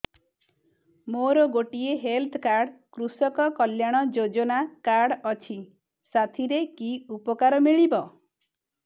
ମୋର ଗୋଟିଏ health card କୃଷକ କଲ୍ୟାଣ ଯୋଜନା କାର୍ଡ ଅଛି ସାଥିରେ କି ଉପକାର ମିଳିବ